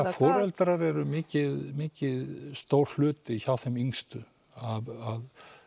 það foreldrar eru mikið mikið stór hluti hjá þeim yngstu að